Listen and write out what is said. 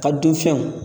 Ka dun fɛnw